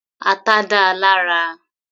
Ata dáa lára.